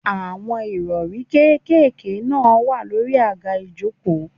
Àwọn Ìrọ̀rí kékeré náà wà lórí àga ìjókòó.